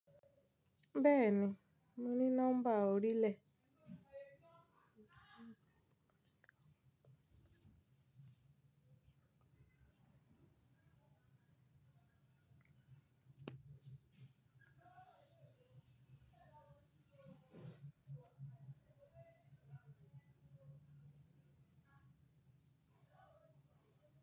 Bẹ́ẹ̀ni, mo ní nọ́mbà orílẹ̀.